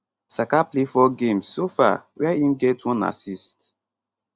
saka play 4 games so far wia im get one assist